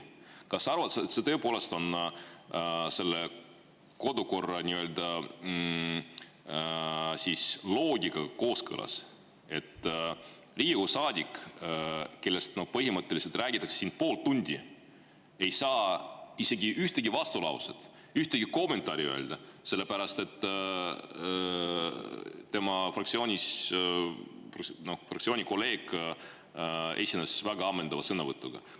Kas sa arvad, et see tõepoolest on kodukorra nii-öelda loodiga kooskõlas, et Riigikogu saadik, kellest põhimõtteliselt räägitakse siin pool tundi, ei saa isegi ühtegi vastulauset, ühtegi kommentaari öelda, sest tema kolleeg fraktsioonist esines juba väga ammendava sõnavõtuga?